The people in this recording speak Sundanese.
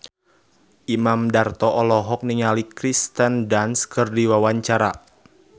Imam Darto olohok ningali Kirsten Dunst keur diwawancara